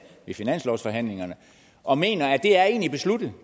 finanslovsforhandlingerne og mener at